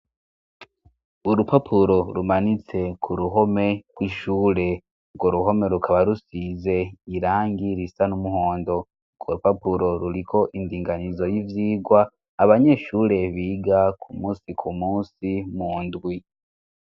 Urupapuro rumanitse ku ruhome rw'ishure urwo ruhome rukaba rusize irangi risa n'umuhondo urwo rupapuro ruriko indinganizo y'ivyigwa abanyeshure biga ku musi ku munsi mu ndwi.